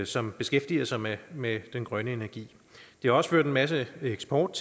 som beskæftiger sig med med den grønne energi det har også ført en masse eksport